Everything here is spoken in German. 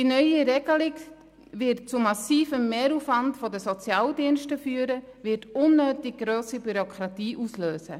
Die neue Regelung wird zu massivem Mehraufwand der Sozialdienste führen, und sie wird eine unnötig grosse Bürokratie auslösen.